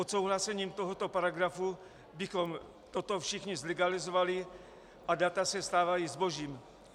Odsouhlasením tohoto paragrafu bychom toto všichni zlegalizovali a data se stávají zbožím.